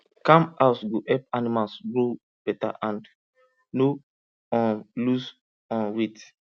calm house go help animals grow better and no um lose um weight